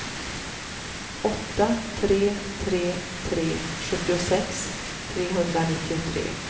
åtta tre tre tre sjuttiosex trehundranittiotre